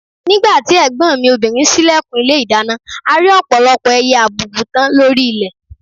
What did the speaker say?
Nígbà tí ẹ̀gbọ́n mi obìnrin ṣílẹ̀kùn ilé ìdáná, a rí ọ̀pọ̀lọpọ̀ ẹyẹ àbùùbùtán lórí ilẹ̀